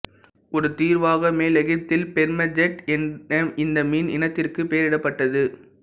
ஒரு தீர்வாக மேல் எகிப்தில் பெர்மெட்ஜெட் என இந்த மீன் இனத்திற்குப் பெயரிடப்பட்டது